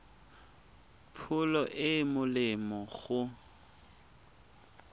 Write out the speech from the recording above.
pholo e e molemo go